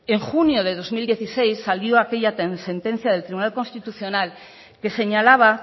en junio del dos mil dieciséis salió aquella sentencia del tribunal constitucional que señalaba